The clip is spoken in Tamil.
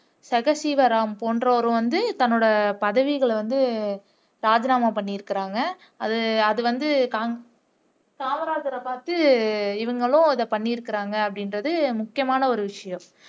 ஜெக சீவராம் போன்றோரும் வந்து தங்களோட பதவிகளை வந்து ராஜினாமா பண்ணி இருக்காங்க அது அதுவந்து காமராஜரை பாத்து இவங்களும் இப்படி பண்ணி இருக்கிறாங்க அப்படிங்கிறது முக்கியமான ஒரு விஷயம்